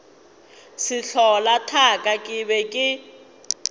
sehlola thaka ke be ke